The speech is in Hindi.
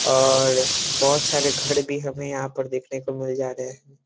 और बहुत सारे घर भी हमें यहाँ पर देखने को मिल जा रहें हैं।